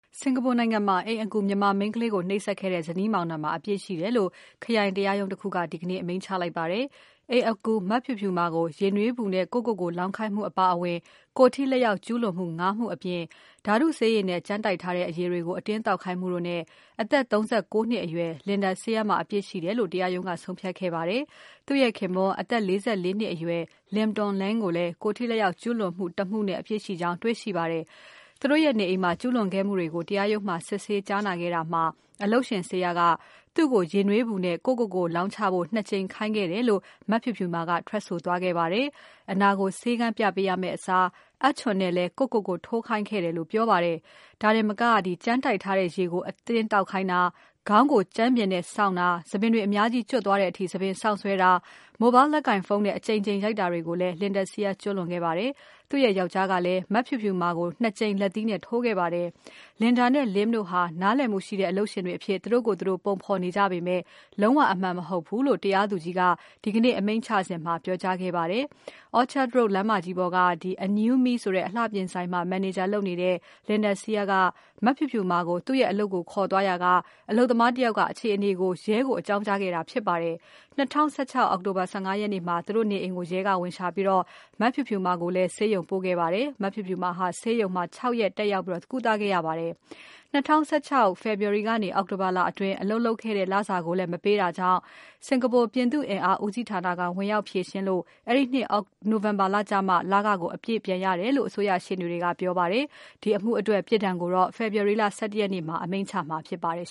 စင်္ကာပူနိုင်ငံမှာ အိမ်အကူ မြန်မာမိန်းကလေးကို နှိပ်စက်တဲ့ဇနီးမောင်နှံမှာ အပြစ်ရှိတယ်လို့ ခရိုင်တရားရုံး တခုက ဒီကနေ့ အမိန့်ချလိုက်ပါတယ်။ အိမ်အကူ မဖြူဖြူမာကို ရေနွေးပူနဲ့ ကိုယ့်ကိုကိုယ် လောင်းခိုင်းမှုအပါအဝင် ကိုယ်ထိလက်ရောက်ကျူးလွန်မှု ၅ မှု အပြင် ဓါတုဆေးရည်နဲ့ ကြမ်းတိုက်ထားတဲ့အရည်တွေကို အတင်းသောက်ခိုင်းမှုတို့နဲ့ အသက် ၃၉ နှစ်အရွယ် Linda Seah မှာအပြစ်ရှိတယ်လို့ တရားရုံးက ဆုံးဖြတ်ခဲ့ပါတယ်။ သူ့ရဲ့ခင်ပွန်း အသက် ၄၄ နှစ်အရွယ် Lim Toon Leng ကိုလည်း ကိုယ်ထိလက်ရောက်ကျူးလွန်မှု ၁ မှုနဲ့ အပြစ်ရှိကြောင်း တွေ့ရှိပါတယ်။ သူတို့ရဲ့နေအိမ်မှာ ကျူးလွန်ခဲ့မှုတွေကို တရားရုံးမှာ စစ်ဆေးကြားနာခဲ့တာမှာ အလုပ်ရှင် Seah က သူ့ကို ရေနွေးပူနဲ့ ကိုယ့်ကိုကိုယ်လောင်းချဖို့ ၂ ကြိမ်ခိုင်းခဲ့တယ်လို့ မဖြူဖြူမာက ထွက်ဆိုသွားပါတယ်။ အနာကို ဆေးခန်းပြပေးရမယ့်အစား အပ်ချွန်နဲ့လည်း ကိုယ့်ကိုကိုယ် ထိုးခိုင်းခဲ့တယ်လို့ ပြောပါတယ်။ ဒါတင်မက ကြမ်းတိုက်ထားတဲ့ရေကို အတင်းသောက်ခိုင်းတာ၊ ခေါင်းကိုကြမ်းပြင်နဲ့ဆောင့်တာ၊ ဆံပင်တွေ အများကြီး ကျွတ်သွားတဲ့အထိ ဆံပင်ဆောင့်ဆွဲတာ၊ Mobile လက်ကိုင်ဖုန်းနဲ့ အကြိမ်ကြိမ် ရိုက်တာတွေကိုလည်း Linda Seah က ကျူးလွန်ခဲ့ပါတယ်။ သူ့ရဲ့ယောင်္ကျားကလည်း မဖြူဖြူမာကို ၂ ကြိမ် လက်သီးနဲ့ ထိုးခဲ့ပါတယ်။ Linda နဲ့ Lim တို့ဟာ နားလည်မှုရှိတဲ့ အလုပ်ရှင်တွေအဖြစ် သူတို့ကိုယ်သူတို့ ပုံဖော်နေကြပေမယ့် လုံးဝအမှန်မဟုတ်ဘူးလို့ တရားသူကြီးက ဒီကနေ့ အမိန့်ချစဉ်မှာ ပြောကြားခဲ့ပါတယ်။ Orchard Road လမ်းမကြီးပေါ်က Anew Me Beauty Aesthetic အလှပြင် ဆိုင်မှာ မန်နေဂျာလုပ်တဲ့ Linda Seah က မဖြူဖြူမာကို သူ့အလုပ်ကိုခေါ်သွားရာက အလုပ်သမား တယောက် က အခြေအနေကို ရဲကိုအကြောင်းကြားခဲ့တာ ဖြစ်ပါတယ်။ ၂၀၁၆ အောက်တိုဘာ ၁၅ ရက်နေ့မှာ သူတို့နေအိမ်ကိုရဲကဝင်ရှာပြီး မဖြူဖြူမာကိုလည်း Khoo Teck Puat ဆေးရုံပို့ခဲ့ပါတယ်။ မဖြူဖြူမာဟာ ဆေးရုံမှာ ၆ ရက် တက်ရောက် ကုသခဲ့ ရပါတယ်။ ၂၀၁၆ ခုနှစ် ဖေဖော်ဝါရီကနေ အောက်တိုဘာလအတွင်း အလုပ်လုပ်ခဲ့တဲ့လစာကိုလည်း မပေးတာကြောင့် စင်္ကာပူ ပြည်သူ့အင်အား ဦးစီး ဌာနက ဝင်ရောက်ဖြေရှင်းလို့ အဲဒီနှစ် နိုဝင်ဘာလကျမှ လခကို အပြည့်ပြန်ရ တယ်လို့ အစိုးရရှေ့နေတွေက ပြောပါတယ်။ ဒီအမှုအတွက် ပြစ်ဒဏ်ကိုတော့ February လ ၁၁ ရက်နေ့မှာ အမိန့်ချမှာဖြစ်ပါတယ်